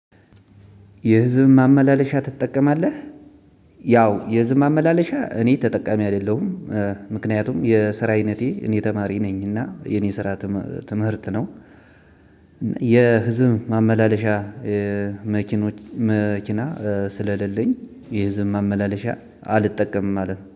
የህዝብ ማመላለሻ ትጠቀማለህ? ያው የህዝብ ማመላለሻ እኔ ተጠቃሚ አይደለሁም። ምክንያቱም የስራ አይነቴ እኔ ተማሪ ነኝ እና የኔ ስራ ትምህርት ነው። ማመላለሻ እ የመኪኖች መኪና ስለሌለኝ የህዝብ ማመላለሻ አልጠቀምም ማለት